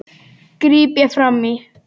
gríp ég fram í.